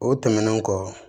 O tɛmɛnen kɔ